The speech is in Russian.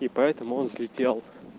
и поэтому он слетел